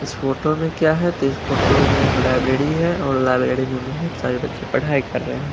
इस फोटो में क्या है तो इस फोटो में एक लाइब्रेरी है और लाइब्रेरी में बहुत सारे बच्चे पढ़ाई कर रहे हैं।